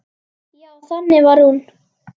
Já, þannig var hún.